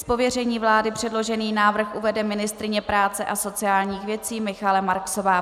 Z pověření vlády předložený návrh uvede ministryně práce a sociálních věcí Michaela Marksová.